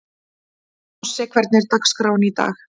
Þossi, hvernig er dagskráin í dag?